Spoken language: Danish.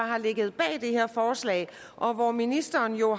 har ligget bag det her forslag og hvor ministeren jo